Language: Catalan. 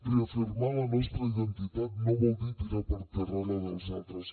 reafirmar la nostra identitat no vol dir tirar per terra la dels altres